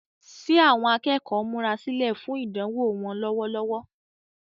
Ṣé àwọn akẹ́kọ̀ọ́ ń múra sílẹ̀ fún idanwo wọn lọ́wọ́lọ́wọ́?